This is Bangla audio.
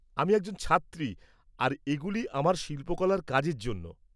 আমি একজন ছাত্রী আর এগুলি আমার শিল্পকলার কাজের জন্য।